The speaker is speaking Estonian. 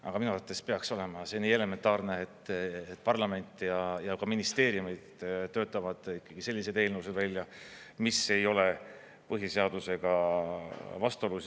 Aga minu arvates peaks olema see nii elementaarne, et parlament ja ka ministeeriumid töötavad ikkagi selliseid eelnõusid välja, mis ei ole põhiseadusega vastuolus.